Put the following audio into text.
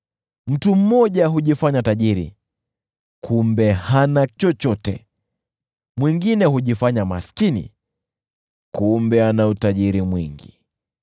Mtu mmoja hujifanya tajiri, kumbe hana chochote; mwingine hujifanya maskini, kumbe ana utajiri mwingi.